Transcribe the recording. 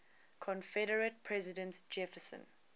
confederate president jefferson